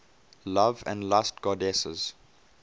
love and lust goddesses